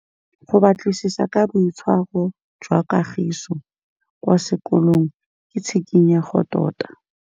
Go batlisisa ka boitshwaro jwa Kagiso kwa sekolong ke tshikinyêgô tota.